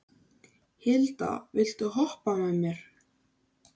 Hilda, viltu hoppa með mér?